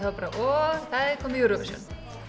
og það er komið Eurovision